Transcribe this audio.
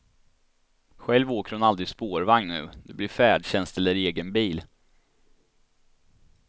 Själv åker hon aldrig spårvagn nu, det blir färdtjänst eller egen bil.